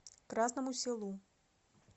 красному селу